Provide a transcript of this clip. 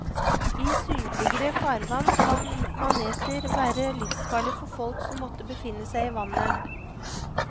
I sydligere farvann kan maneter være livsfarlige for folk som måtte befinne seg i vannet.